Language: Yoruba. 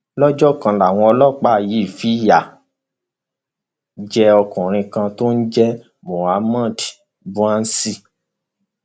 lọjọ kan làwọn ọlọpàá yìí fìyà jẹ ọkùnrin kan tó ń jẹ mohammed bouaziz